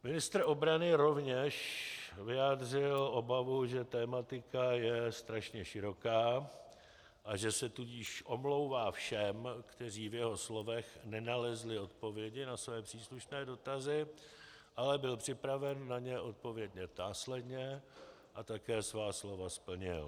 Ministr obrany rovněž vyjádřil obavu, že tematika je strašně široká, a že se tudíž omlouvá všem, kteří v jeho slovech nenalezli odpovědi na své příslušné dotazy, ale byl připraven na ně odpovědět následně, a také svá slova splnil.